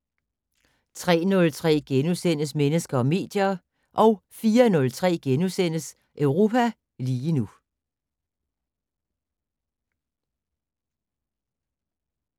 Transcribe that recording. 03:03: Mennesker og medier * 04:03: Europa lige nu *